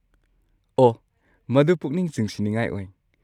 ꯑꯣꯍ, ꯃꯗꯨ ꯄꯨꯛꯅꯤꯡ ꯆꯤꯡꯁꯤꯟꯅꯤꯡꯉꯥꯏ ꯑꯣꯏ꯫